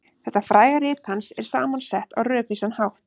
Þetta fræga rit hans er saman sett á rökvísan hátt.